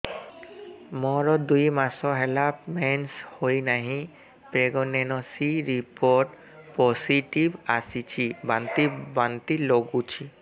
ମୋର ଦୁଇ ମାସ ହେଲା ମେନ୍ସେସ ହୋଇନାହିଁ ପ୍ରେଗନେନସି ରିପୋର୍ଟ ପୋସିଟିଭ ଆସିଛି ବାନ୍ତି ବାନ୍ତି ଲଗୁଛି